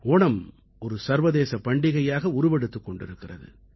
ஓணம் ஒரு சர்வதேசப் பண்டிகையாக உருவெடுத்துக் கொண்டிருக்கிறது